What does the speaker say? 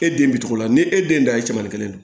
E den bi cogo la ni e den da ye cɛmanin kelen de don